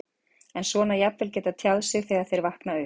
En svona jafnvel geta tjáð sig þegar þeir vakna upp?